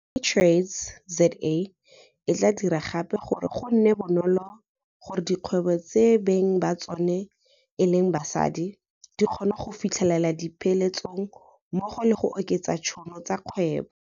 SheTradesZA e tla dira gape gore go nne bonolo gore dikgwebo tse beng ba tsona e leng basadi di kgone go fitlhelela dipeeletso mmogo le go oketsa ditšhono tsa dikgwebo.